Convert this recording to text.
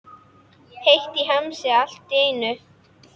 Heitt í hamsi allt í einu.